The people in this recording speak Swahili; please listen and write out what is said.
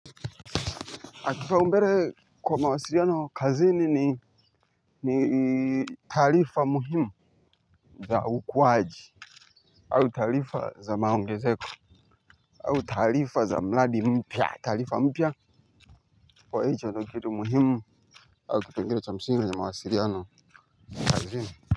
Mtu naongea naye kwa mawasiliano kazini ni ni taarifa muhimu za ukuaji au taarifa za maongezeko au taarifa za mradi mpya taarifa mpya kwa hicho ndo kitu muhimu au kipengele cha msingi kwenye mawasiliano kazini.